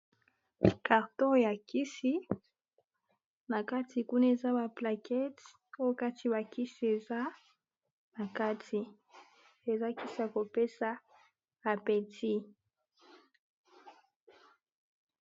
karto ya kisi na kati kuna eza baplakete ko kati bakisi eza na kati eza kisa kopesa apeti